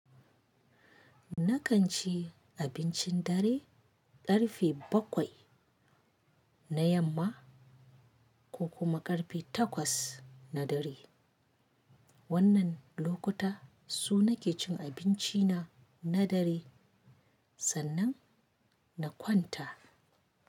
Nakan ci abincin dare ƙarfe bakwai na yamma ko kuma ƙarfe takwas na dare. Wannan lokuta su nake cin abinci na na dare sannan na kwanta.